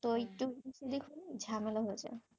তো একটু দেখুন ঝামেলা হয়ে যায়,